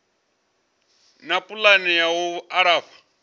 na pulani ya u alafha